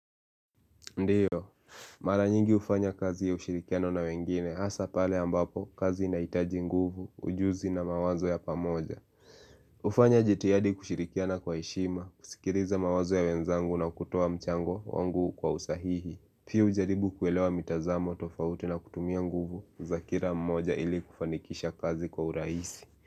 Ndiyo, mara nyingi hufanya kazi ya ushirikiano na wengine, hasa pale ambapo kazi inaitaji nguvu, ujuzi na mawazo ya pamoja ufanya jitiadi kushirikiana kwa heshima, kusikiriza mawazo ya wenzangu na kutoa mchango wangu kwa usahihi pia ujaribu kuelewa mitazamo tofauti na kutumia nguvu, zakira mmoja ili kufanikisha kazi kwa uraisi.